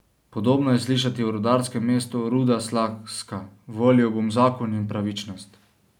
Podobno je slišati v rudarskem mestu Ruda Slaska: 'Volil bom Zakon in pravičnost.